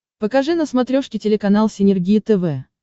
покажи на смотрешке телеканал синергия тв